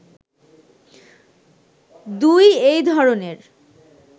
২ এই ধরনের